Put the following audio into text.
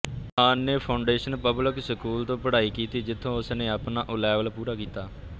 ਖਾਨ ਨੇ foundation public school ਤੋਂ ਪੜ੍ਹਾਈ ਕੀਤੀ ਜਿਥੋਂ ਉਸ ਨੇ ਆਪਣਾ ਓਲੈਵਲ ਪੂਰਾ ਕੀਤਾ